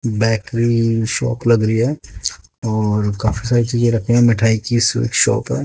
Bakery shop लग रही है और काफी सारी चीजें रखी है मिठाई की शॉप है।